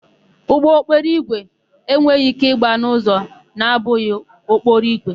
Ụgbọokporoígwè enweghị íké ịgba n'ụzọ na-abụghị okporoigwe.